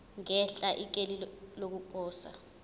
ngenhla ikheli lokuposa